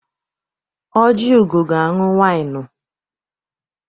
Ojiugo ga-aṅụ wịnụ.